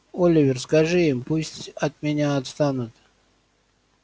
оливер скажи им пусть от меня отстанут